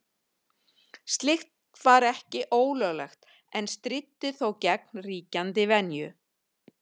Slíkt var ekki ólöglegt en stríddi þó gegn ríkjandi venju.